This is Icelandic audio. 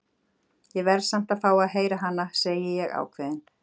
Ég verð samt að fá að heyra hana, segi ég ákveðin.